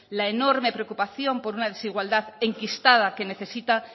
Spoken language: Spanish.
la enorme preocupación por una desigualdad enquistada que necesita